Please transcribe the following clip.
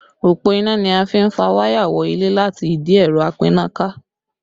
Òpó iná ni a fi n fà wáyà wọ ilé láti ìdí ẹ̀rọ apínnáká